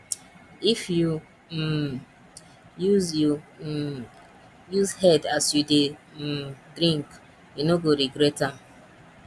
if you um use you um use head as you dey um drink you no go regret am